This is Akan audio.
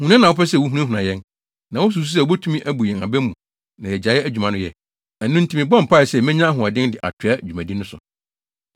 Huna na na wɔpɛ sɛ wohunahuna yɛn. Na wususuw sɛ wobetumi abu yɛn aba mu na yegyae adwuma no yɛ. Ɛno nti, mebɔɔ mpae sɛ menya ahoɔden de atoa dwumadi no so.